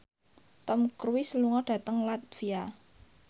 Tom Cruise lunga dhateng latvia